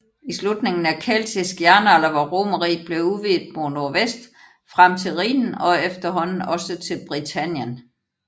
I slutningen af keltisk jernalder var Romerriget blevet udvidet mod nordvest frem til Rhinen og efterhånden også til Britannien